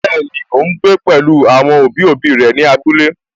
Bẹ́ẹ̀ni, ó ún gbé pẹ̀lú àwọn òbí òbí rẹ̀ ní abúlé